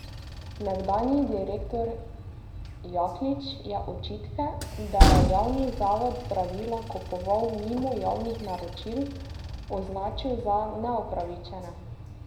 Nekdanji direktor Jaklič je očitke, da je javni zavod zdravila kupoval mimo javnih naročil, označil za neupravičene.